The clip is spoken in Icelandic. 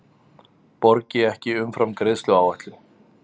Borgi ekki umfram greiðsluáætlun